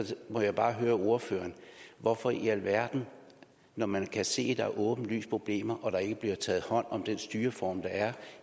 må jeg bare høre ordføreren hvorfor i alverden når man kan se at der er åbenlyse problemer og der ikke bliver taget hånd om det styreform der er